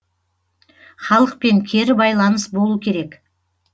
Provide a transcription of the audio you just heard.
халықпен кері байланыс болу керек